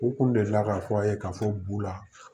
U kun delila k'a fɔ aw ye k'a fɔ bu la